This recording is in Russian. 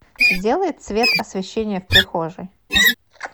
сделай цвет освещение в прихожей